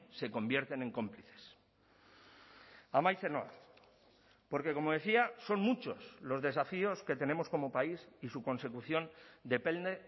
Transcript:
se convierten en cómplices amaitzen noa porque como decía son muchos los desafíos que tenemos como país y su consecución depende